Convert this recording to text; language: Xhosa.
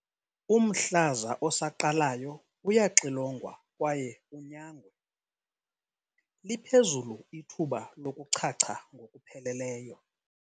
Umhlaza osaqalayo uyaxilongwa kwaye unyangwe, liphezulu ithuba lokuchacha ngokupheleleyo.